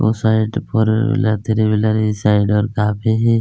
उस साइड पर three wheeler इस साइड ओर आते हैं |